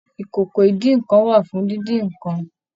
ìkòkò idínnkan wà fún díndín nìkan.